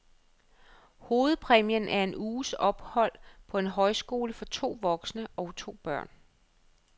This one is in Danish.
Hovedpræmien er en uges ophold på en højskole for to voksne og to børn.